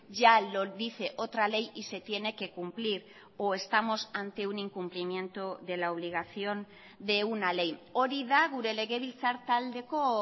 ya lo dice otra ley y se tiene que cumplir o estamos ante un incumplimiento de la obligación de una ley hori da gure legebiltzar taldeko